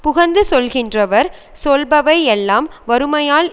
புகழ்ந்து சொல்கின்றவர் சொல்பவை எல்லாம் வறுமையால்